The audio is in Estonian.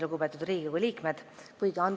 Lugupeetud Riigikogu liikmed!